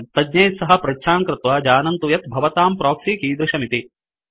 तज्ञैः सह पृच्छां कृत्वा जानन्तु यत् भवतां प्रोक्सि कीदृशमिति